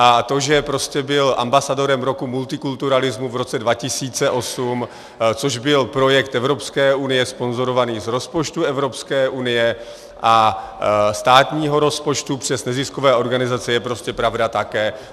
A to, že prostě byl ambasadorem roku multikulturalismu v roce 2008, což byl projekt Evropské unie sponzorovaný z rozpočtu Evropské unie a státního rozpočtu přes neziskové organizace, je prostě pravda také.